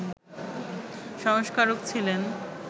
সংস্কারক ছিলেন